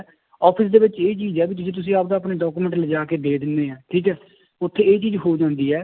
office ਦੇ ਵਿੱਚ ਇਹ ਚੀਜ਼ ਹੈ ਵੀ ਜੇ ਤੁਸੀਂ ਆਪਦਾ ਆਪਣੇ document ਲਜਾ ਕੇ ਦੇ ਦਿੰਦੇ ਹੈ ਠੀਕ ਹੈ ਉੱਥੇ ਇਹ ਚੀਜ਼ ਹੋ ਜਾਂਦੀ ਹੈ